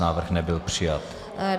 Návrh nebyl přijat.